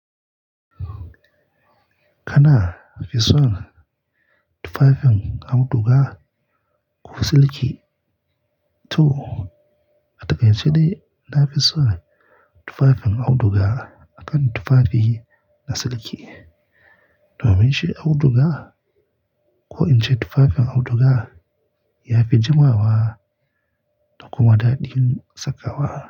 Kana fison tufafin auduga ko siliki, to a takaice dai na fison tufafin auduga akan tufafi na siliki. Do mun shi auduga ko in ce tufafen auduga ya fi jimawa wa dakuma daɗin saka wa.